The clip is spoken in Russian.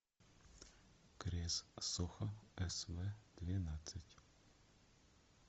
крез сохо св двенадцать